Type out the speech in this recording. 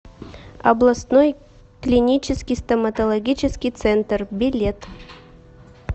областной клинический стоматологический центр билет